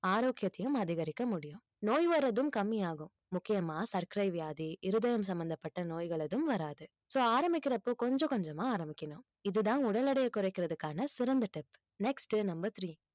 ஆரோக்கியத்தையும் அதிகரிக்க முடியும் நோய் வர்றதும் கம்மியாகும் முக்கியமா சர்க்கரை வியாதி இருதயம் சம்பந்தப்பட்ட நோய்கள் ஏதும் வராது so ஆரம்பிக்கிறப்போ கொஞ்சம் கொஞ்சமா ஆரம்பிக்கணும் இதுதான் உடல் எடையை குறைக்கிறதுக்கான சிறந்த tip next uh number three